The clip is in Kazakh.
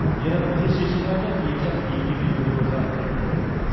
ер адам тез шешім қабылдайды екі жақ екі кеменің бір бір жағын ұстайтын болады